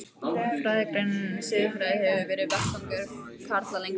Fræðigreinin siðfræði hefur verið vettvangur karla lengst af.